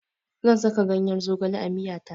Zan saka ganyar zogale a miya ta.